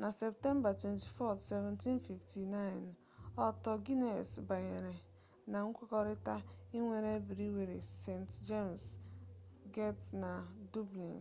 na septemba 24 1759 arthur guinness banyere na nkwekọrịta ịnwere briwiri st jems get na dublin